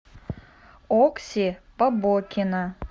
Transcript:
окси побокина